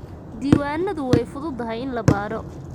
Diiwaanadayadu way fududahay in la baadho.